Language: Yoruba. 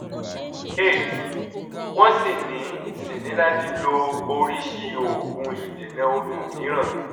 cs] eight wọ́n sì ní sì ní láti lo oríṣi òògùn ìdènà oyún mìíràn